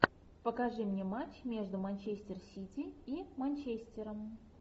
покажи мне матч между манчестер сити и манчестером